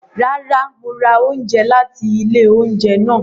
Rara, Mo ra oúnjẹ láti ilé oúnjẹ náà